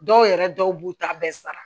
Dɔw yɛrɛ dɔw b'u ta bɛɛ sara